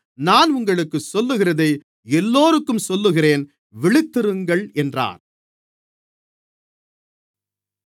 நான் உங்களுக்குச் சொல்லுகிறதை எல்லோருக்கும் சொல்லுகிறேன் விழித்திருங்கள் என்றார்